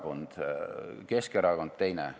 Rohkem sõnavõtusoovi ei ole.